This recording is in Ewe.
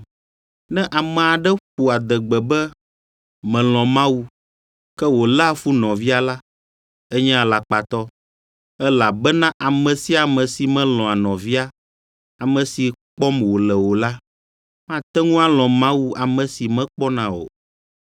Ne ame aɖe ƒo adegbe be, “Melɔ̃ Mawu,” ke wòléa fu nɔvia la, enye alakpatɔ, elabena ame sia ame si melɔ̃a nɔvia, ame si kpɔm wòle o la, mate ŋu alɔ̃ Mawu ame si mekpɔna o.